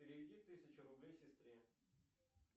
переведи тысячу рублей сестре